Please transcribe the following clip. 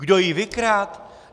Kdo ji vykradl?